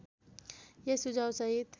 यस सुझाव सहित